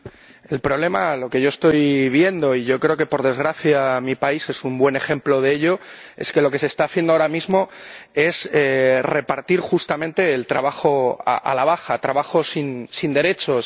Señor Presidente, el problema, lo que yo estoy viendo —y yo creo que, por desgracia, mi país es un buen ejemplo de ello— es que lo que se está haciendo ahora mismo es repartir justamente el trabajo a la baja, trabajo sin derechos.